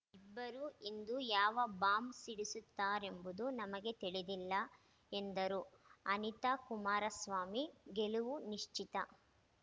ಇಬ್ಬರೂ ಇಂದು ಯಾವ ಬಾಂಬ್‌ ಸಿಡಿಸುತ್ತಾರೆಂಬುದು ನಮಗೆ ತಿಳಿದಿಲ್ಲ ಎಂದರು ಅನಿತಾ ಕುಮಾರಸ್ವಾಮಿ ಗೆಲವು ನಿಶ್ಚಿತ